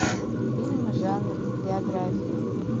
фильм жанр биография